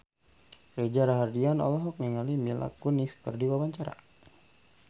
Reza Rahardian olohok ningali Mila Kunis keur diwawancara